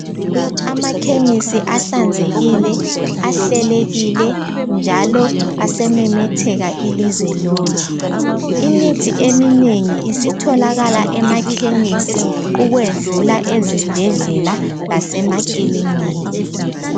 Amakhemisi ahlanzekileyo, ahlelekile, njalo asememetheka ilizwe lonke. Imithi eminengi isitholakala emakhemisi ukwedlula ezibhedlela lasemakilinika.